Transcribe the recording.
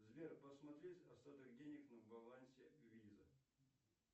сбер посмотри остаток денег на балансе виза